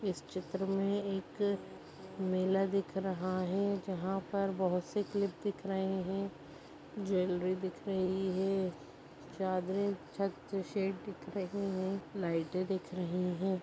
इस चित्र मे एक मेला दिख रहा हैं जहां पे बहुत से तीर्थ दिख रहे हैंज्वेलरी दिख रही हैंचादरे छत से सेड दिख रही हैं लाइटे दिख रही हैं।